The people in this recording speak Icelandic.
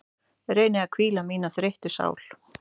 Reyni að hvíla mína þreyttu sál.